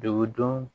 Degun don